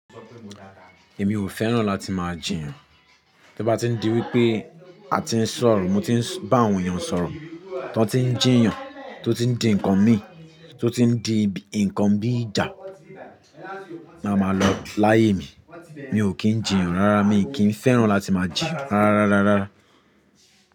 Èmi ò fẹ́ràn láti máa jiyàn. Tí ó bá ti n di wípé a ti ń sọ̀rọ̀, mo ti ń bá awòn èèyàn sọ̀rọ̀, tí wọ́n ti ń jiyàn, tí ó ti ń di nǹkan mi, tí ó ti ń di nǹkan bí ìjà, máa ma lọ láyé mi. Mi ò kí ń jiyàn rárá, mi ò kí ń fẹ́ràn láti máa jìyà rárá rárá rárá.